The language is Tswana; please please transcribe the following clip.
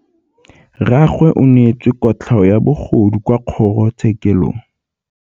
Rragwe o neetswe kotlhaô ya bogodu kwa kgoro tshêkêlông.